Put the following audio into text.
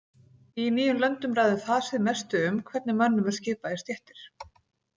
Í nýjum löndum ræður fasið mestu um hvernig mönnum er skipað í stéttir.